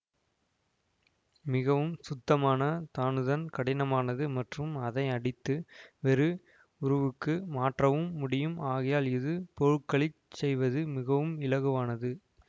மிகவும் சுத்தமான தனுதன் கடினமானது மற்றும் அதை அடித்து வேறு உருவுக்கு மாற்றவும் முடியும் ஆகையால் இதில் போருகளிச் செய்வது மிகவும் இலகுவானது